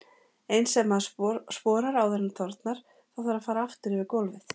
Eins ef maður sporar áður en þornar, þá þarf að fara aftur yfir gólfið.